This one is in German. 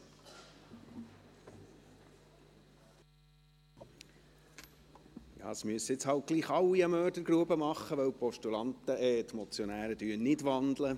Ja, es müssen nun doch alle eine Mördergrube machen, da die Motionäre nicht wandeln;